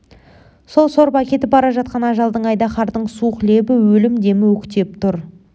сол сорып әкетіп бара жатқан ажалдың айдаһардың суық лебі өлім демі өктеп тұр